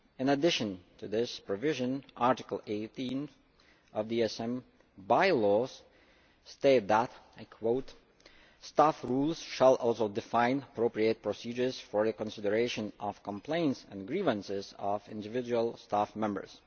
In addition to this provision, Article 18 of the ESM By Laws states that staff rules shall also define appropriate procedures for the consideration of complaints and grievances of individual staff members'.